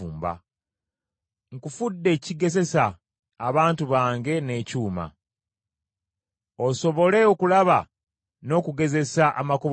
“Nkufudde ekigezesa abantu bange n’ekyuma, osobole okulaba n’okugezesa amakubo gaabwe.